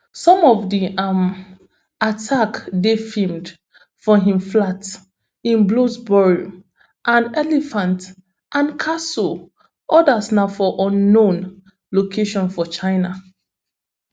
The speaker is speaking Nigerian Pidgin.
some of di um attacks dey filmed for im flats in bloomsbury and elephant and castle odas na for unknown location for china